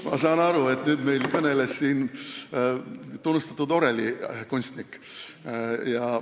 Ma saan aru, et meil kõneles siin nüüd tunnustatud orelikunstnik.